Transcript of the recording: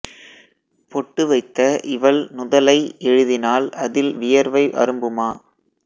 பொட்டு வைத்த இவள் நுதலை எழுதினால் அதில் வியர்வை அரும்புமா